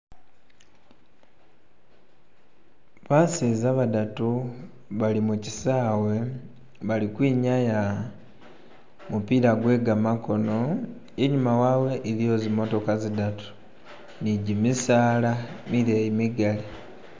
Baseza badatu bali mu kisaawe balikwinyaya gumupiira gwe gamakono, inyuma waawe iliiyo zimotoka zidatu ni gimisaala mileeyi migaali.